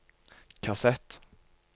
kassett